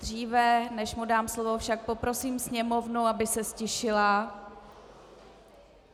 Dříve než mu dám slovo však poprosím sněmovnu, aby se ztišila.